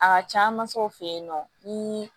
A ka can masaw fe yen nɔ nii